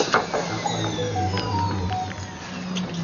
Akwayo mondo iyaw imel.